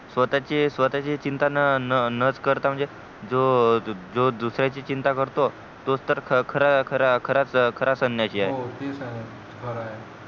स्वतःची स्वतःची चिंता न न करता जो जो दुसऱ्याची चिंता करतो तोच तर खरा खरा खरा सन्यासी आहे हो तेच आहे खर आहे